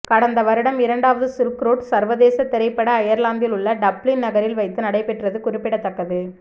கடந்த வருடம் இரண்டாவது சில்க் ரோடு சர்வதேச திரைப்பட ஐயர்லாந்தில் உள்ள டப்ளின் நகரில் வைத்து நடைபெற்றது குறிப்பிடத்தக்கது